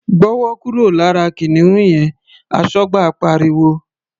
"Gbọ́wọ́ kúrò lára kìnìún yẹn!", Aṣọ́gbà pariwo.